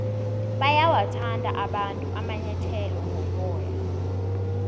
bayawathanda abantu amanyathele woboya